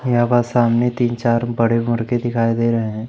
यहां व सामने तीन चार बड़े मुर्गे दिखाई दे रहे हैं।